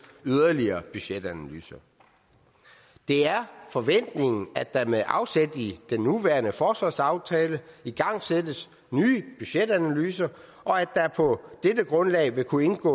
yderligere budgetanalyser det er forventningen at der med afsæt i den nuværende forsvarsaftale igangsættes nye budgetanalyser og at der på dette grundlag vil kunne indgå